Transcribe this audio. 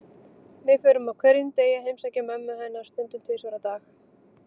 Við förum á hverjum degi að heimsækja mömmu hennar, stundum tvisvar á dag.